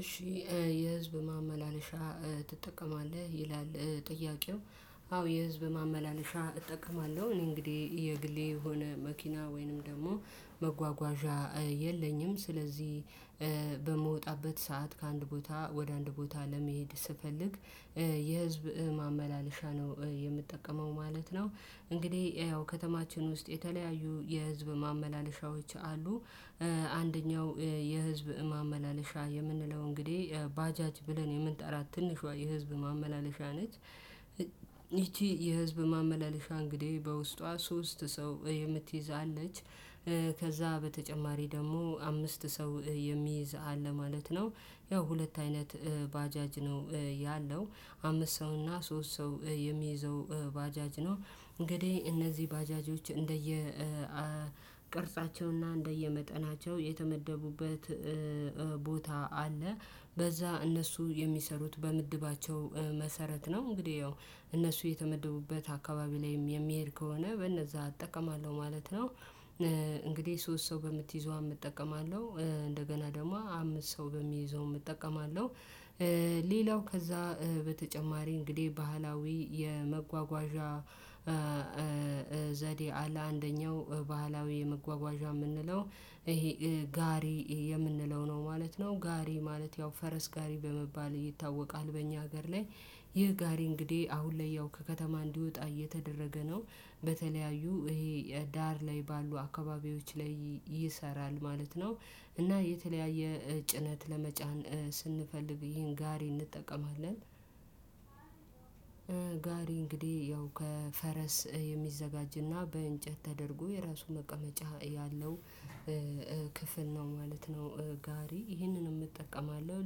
እሺ የህዝብ ማመላለሻ ትጠቀማለህ ይላል ጥያቄው። አዎ የህዝብ ማመላለሻ እጠቀማለሁ እኔ እንግዲህ የግሌ የሆነ መኪና ወይንም ደግሞ መጓጓዣ የለኝም። ስለዚህ በምወጣበት ሰዓት ከአንድ ቦታ ወደ አንድ ቦታ ለመሄድ ስፈልግ የህዝብ ማመላለሻ ነው የምትጠቀመው ማለት ነው። እንግዲህ ያው ከተማችን ውስጥ የተለያዩ የህዝብ ማመላለሻዎች አሉ። አንደኛው የህዝብ ማመላለሻ የምንለው እንግዲህ ባጃጅ ብለን የምንጠራት ትንሿ የህዝብ ማመላለሻ ነች። ይቺ የህዝብ ማመላለሻ እንግዲህ በውስጧ ሶስት ሰው የምትይዝ አለች። ከዛ በተጨማሪ ደግሞ አምስት ሰው የሚይዝ አለ ማለት ነው። ያው ሁለት አይነት ባጃጅ ነው ያለው አምስት ሰው እና ሶስት ሰው የሚይዘው ባጃጅ ነው። እንግዲህ እነዚህ ባጃጆች እንደየ ቅርጻቸውና እንደየመጠናቸው የተመደቡበት ቦታ አለ። በዛ እነሱ የሚሰሩት በምድባቸው መሰረት ነው። እንግዲህ ያው እነሱ የተመደቡበት አካባቢ ላይም የሚሄድ ከሆነ በነዛ አጠቀማለሁ ማለት ነው። እንግዲህ ሶስት ሰው በምትይዘው እጠቀማለሁ እንደገና ደግሞ አምስት ሰው በሚይዘው እጠቀማለሁ። ሌላው ከዛ በተጨማሪ እንግዲህ ባህላዊ የመጓጓዣ ዘዴ አለ። አንደኛው ባህላዊ የመጓጓዣ ምንለው ይሄ ጋሪ የምንለው ነው ማለት ነው። ጋሪ ማለት ያው ፈረስ ጋሪ በመባል ይታወቃል። በእኛ ሀገር ላይ ይህ ጋሪ እንግዲህ አሁን ላይ ያው ከከተማ እንዲወጣ እየተደረገ ነው። በተለያዩ ይሄ ዳር ላይ ባሉ አካባቢዎች ላይ ይሰራል ማለት ነው። እና የተለያየ ጭነት ለመጫን ስንፈልግ ይህን ጋሪ እንጠቀማለን። ጋሪ እንግዲህ ያው ከፈረስ የሚዘጋጅና በእንጨት ተደርጎ የራሱ መቀመጫ ያለው ክፍል ነው ማለት ነው። ጋሪ ይህንንም እጠቀማለሁ።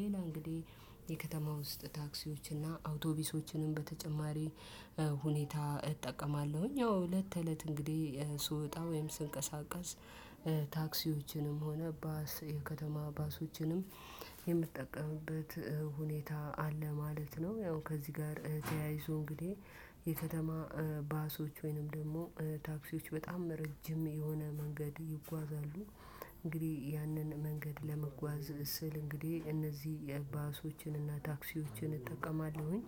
ሌላ እንግዲህ የከተማ ውስጥ ታክሲዎችና አውቶቢሶችንም በተጨማሪ ሁኔታ እጠቀማለሁኝ። ያው እለት ተእለት እንግዲህ ስወጣ ወይም ስንቀሳቀስ ታክሲዎችንም ሆነ ባስ የከተማ ባሶችንም የምትጠቀምበት ሁኔታ አለ ማለት ነው። ያው ከዚህ ጋር ተያይዞ እንግዲህ የከተማ ባሶች ወይንም ደግሞ ታክሲዎች በጣም ረጅም የሆነ መንገድ ይጓዛሉ። እንግዲህ ያንን መንገድ ለመጓዝ ስል እንግዲህ እነዚህ የባሶችን እና ታክሲዎችን እጠቀማለሁኝ።